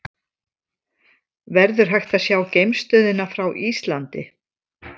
Verður hægt að sjá geimstöðina frá Íslandi?